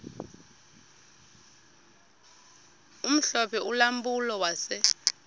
omhlophe ulampulo wase